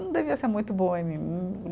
Não devia ser muito boa em mim.